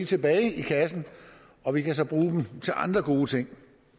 tilbage i kassen og vi kan så bruge dem til andre gode ting